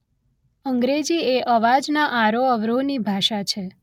અંગ્રેજી એ અવાજના આરોહ અવરોહ ની ભાષા છે